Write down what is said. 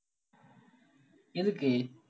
எதுக்கு